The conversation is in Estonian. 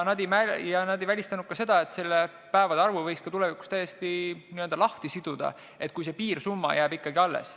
Nad ei välistanud ka seda, et selle päevade arvu võiks tulevikus täiesti lahti siduda, kui piirsumma jääb ikkagi alles.